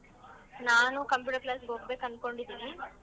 ನಾನು computer class ಗ್ ಹೋಗ್ಬೇಕ್ ಅನ್ಕೊಂಡಿದಿನಿ.